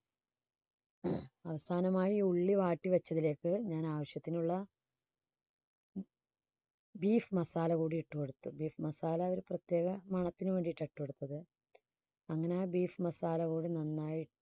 അവസാനമായി ഉള്ളി വാട്ടി വെച്ചതിലേക്ക് ഞാൻ ആവശ്യത്തിനുള്ള beef masala കൂടി ഇട്ടു കൊടുത്തു beef masala ഒരു പ്രത്യേക മണത്തിന് വേണ്ടിയിട്ടാ ഇട്ടുകൊടുത്തത്. അങ്ങനെ beef masala കൂടി നന്നായി